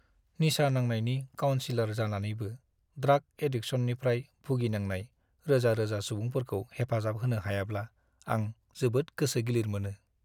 निसा नांनायनि काउनसिलर जानानैबो ड्राग एडिकसननिफ्राय भुगिनांनाय रोजा-रोजा सुबुंफोरखौ हेफाजाब होनो हायाब्ला आं जोबोद गोसो गिलिर मोनो।